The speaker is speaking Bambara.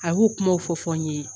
A y'u kuma fɔ fɔ n ye.